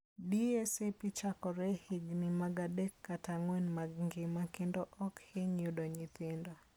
DSAP chakore e higini mag adek kata ang'wen mag ngima, kendo ok hiny yudo nyithindo.